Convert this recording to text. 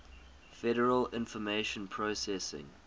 federal information processing